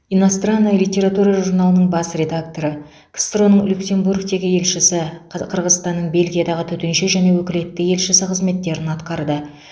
иностранная литература журналының бас редакторы ксро ның люксембургтегі елшісі қы қырғызстанның бельгиядағы төтенше және өкілетті елшісі қызметтерін атқарды